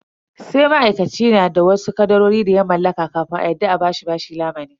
Sai ma'aikaci na da wasu kadarori da ya mallaka kafin a yarda a bashi lamuni.